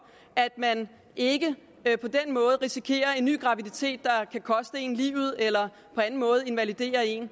at man ikke på den måde risikerer en ny graviditet der kan koste én livet eller invalidere én